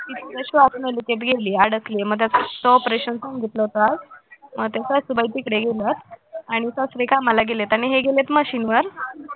ती श्वासनलिकेत गेलीय अडकली मग त्याचं operation सांगितलं होतं आज सासूबाई तिकडे गेल्यात आणि सासरे कामाला गेलेत आणि हे गेलेत machine वर